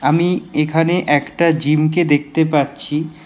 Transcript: আমি এখানে একটা জিমকে দেখতে পাচ্ছি।